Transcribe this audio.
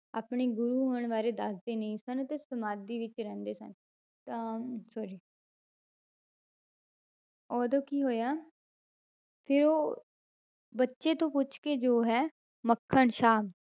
ਆਪਣੇ ਗੁਰੂ ਹੋਣ ਬਾਰੇ ਦੱਸਦੇ ਨਹੀਂ ਸਨ ਤੇ ਸਮਾਧੀ ਵਿੱਚ ਰਹਿੰਦੇ ਸਨ ਤਾਂ sorry ਉਦੋਂ ਕੀ ਹੋਇਆ ਫਿਰ ਉਹ ਬੱਚੇ ਤੋਂ ਪੁੱਛ ਕੇ ਜੋ ਹੈ ਮੱਖਣ ਸ਼ਾਹ